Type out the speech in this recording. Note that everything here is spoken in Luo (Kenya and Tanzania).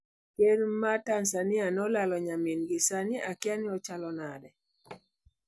Kerr ma Tanzania nolalo nyamingi 'sani akiani ochalo nade'.